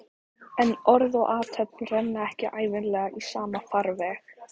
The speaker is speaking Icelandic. En orð og athöfn renna ekki ævinlega í sama farveg.